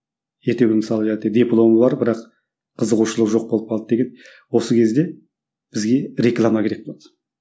ертеңгі күні мысалы дипломы бар бірақ қызығушылығы жоқ болып қалды деген осы кезде бізге реклама керек болады